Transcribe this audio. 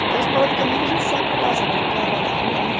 Então, esporadicamente, a gente sai para lá, sai para cá, vai na rua, né?